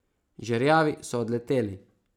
Žerjavi so odleteli.